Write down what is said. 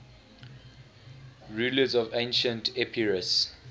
rulers of ancient epirus